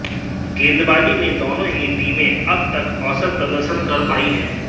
गेंदबाजी में दोनों ही टीमें अब तक औसत प्रदर्शन कर पाई हैं